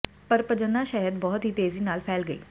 ਪਰ ਪਜੰਨਾ ਸ਼ਹਿਦ ਬਹੁਤ ਹੀ ਤੇਜ਼ੀ ਨਾਲ ਫੈਲ ਗਈ